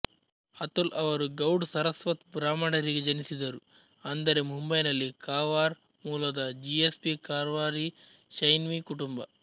ಅತುಲ್ ಅವರು ಗೌಡ್ ಸರಸ್ವತ್ ಬ್ರಾಹ್ಮಣರಿಗೆ ಜನಿಸಿದರು ಅಂದರೆ ಮುಂಬೈನಲ್ಲಿ ಕಾರ್ವಾರ್ ಮೂಲದ ಜಿಎಸ್ಬಿ ಕಾರ್ವಾರಿ ಶೆನ್ವಿ ಕುಟುಂಬ